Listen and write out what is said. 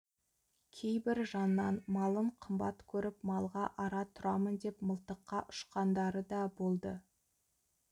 кейбір жаннан малын қымбат көріп малға ара тұрамын деп мылтыққа ұшқандары да болды